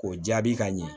K'o jaabi ka ɲɛ